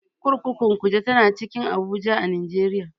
Kurkukun Kuje tana cikin Abuja a Najeriya.